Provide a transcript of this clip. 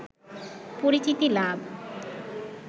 পরিচিতি লাভ